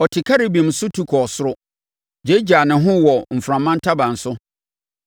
Ɔte Kerubim so tu kɔɔ soro; gyaagyaa ne ho wɔ mframa ntaban so.